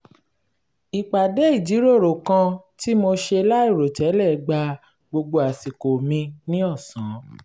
ìpàdé ìjíròrò kan tí mo ṣe láìròtẹ́lẹ̀ gba gbogbo àsìkò mi ní ọ̀sán